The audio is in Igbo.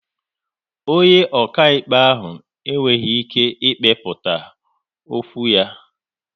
Onye okaịkpe ahụ e nweghị ike ị kpekputa okwu ya